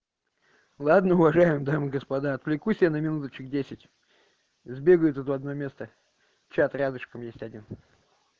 ладно уважаемые дамы и господа отвлекусь она минуточек десять избегают в одно место чат рядышком есть один